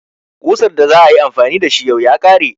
Ƙusar da za a yi amfani da shi yau ya kare.